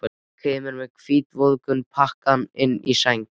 Hún kemur með hvítvoðunginn pakkaðan inn í sæng.